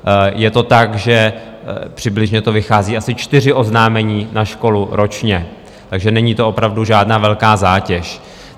Je to tak, že přibližně to vychází asi čtyři oznámení na školu ročně, takže není to opravdu žádná velká zátěž.